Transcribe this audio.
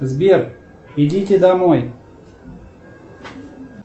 сбер идите домой